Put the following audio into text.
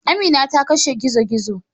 Amina ta kashe gizo-gizo.